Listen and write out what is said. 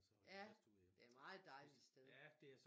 Ja det et meget dejligt sted